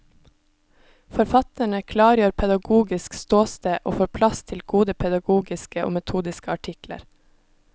Forfatterne klargjør pedagogisk ståsted og får plass til gode pedagogiske og metodiske artikler.